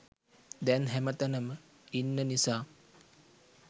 දැන් හැමතැනම ඉන්න නිසා.